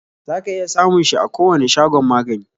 Za ka iya samun shi a kowani shagon magani